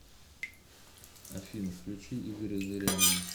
афина включи игоря зырянова